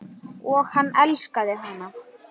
Og hann elskaði hana.